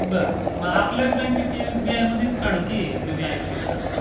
मग आपल्याच बँकेत एसबीआय बँकेमध्येच काढून की तुम्ही हायेत तिथ.